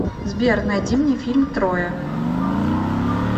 сбер найди мне фильм троя